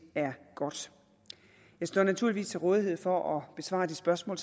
er godt jeg står naturligvis til rådighed for at besvare de spørgsmål